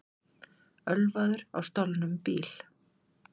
Ölvaður á stolnum bíl